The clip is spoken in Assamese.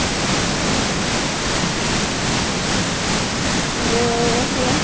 উম বুঢ়ি জনী যে আছিলে